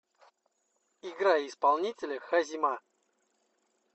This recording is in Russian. играй исполнителя хазима